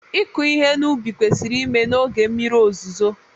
ịkụ ihe n'ubi kwesịrị ime na oge mmiri ozuzo